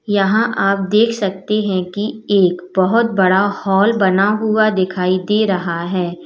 यहां आप देख सकते हैं कि एक बहोत बड़ा हॉल बना हुआ दिखाई दे रहा है।